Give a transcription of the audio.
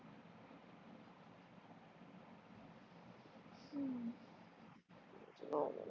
च